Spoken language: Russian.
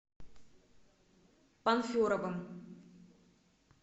панферовым